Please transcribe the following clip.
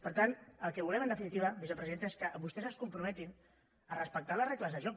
per tant el que volem en definitiva vicepresidenta és que vostès es comprometin a respectar les regles del joc